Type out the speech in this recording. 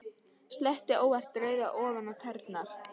Sletti óvart rauðu ofan á tærnar.